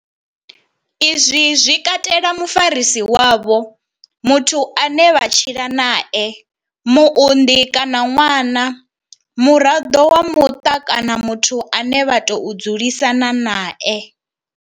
Izwi zwi katela mufarisi wavho, muthu ane vha tshila nae, muunḓi kana ṅwana, muraḓo wa muṱa kana muthu ane vha tou dzulisana nae.